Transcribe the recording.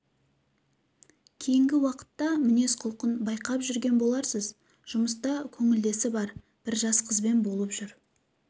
кейінгң уақытта мінез-құлқын байқап жүрген боларсыз жұмыста көңілдесі бар бңр жас қызбен болып жүр